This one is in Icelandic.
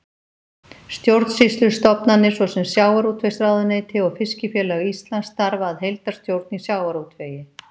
Stjórnsýslustofnanir svo sem Sjávarútvegsráðuneyti og Fiskifélag Íslands starfa að heildarstjórn í sjávarútvegi.